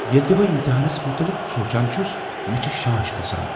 ییٚلہ تہ بہٕ امتحانس متعلق چھس سونٛچان مےٚ چھےٚ شانش كھسان۔